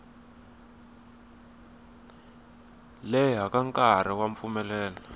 leha ka nkarhi wa mpfumelelo